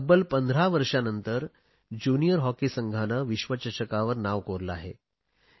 तब्बल 15 वर्षानंतर junior hockey संघाने विश्वचषकावर नाव कोरले आहे